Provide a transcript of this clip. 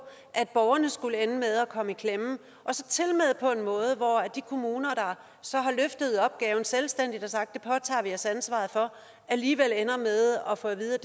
at borgerne skulle ende med at komme i klemme tilmed på en måde hvor de kommuner der så har løftet opgaven selvstændigt og sagt at sig ansvaret for alligevel ender med at få at vide